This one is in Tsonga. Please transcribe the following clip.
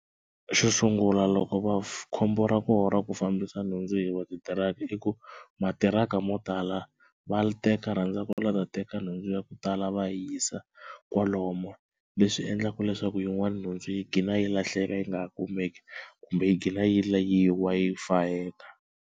Xo sungula loko va, khombo ra kona ku fambisa nhundzu yi va titiraka i ku matiraka mo tala va teka va rhandza ku la ku ta teka nhundzu ya ku tala va yi yisa kwalomu leswi endlaka leswaku yin'wana nhundzu yi gcina yi lahleka yi nga ha kumeki kumbe yi gcina yi yi wa yi fayeka.